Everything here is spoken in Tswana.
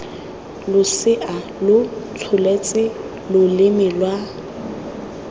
losea lo tsholetse loleme lwa